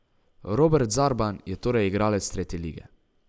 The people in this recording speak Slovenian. Robert Zarban je torej igralec tretje lige.